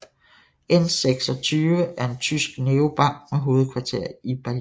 N26 er en tysk neobank med hovedkvarter i Berlin